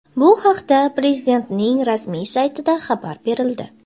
Bu haqda Prezidentning rasmiy saytida xabar berildi.